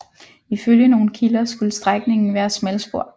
Ifølge nogle kilder skulle strækningen være smalspor